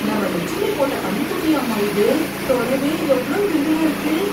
நம்ம லெச்சுமி போட்ட கன்னுக்குட்டியாம்மா இது, தொடவே எவ்ளோ மிருதுவா இருக்கு.